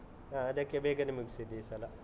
ಹಾ. ಅದಕ್ಕೆ ಬೇಗನೇ ಮುಗ್ಸಿದ್ದು ಈ ಸಲ.